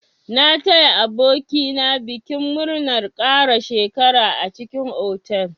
Na taya aboki na bikin murnar ƙara shekara a cikin otal.